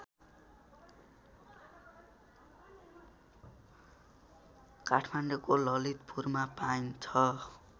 काठमाडौँको ललितपुरमा पाइन्छ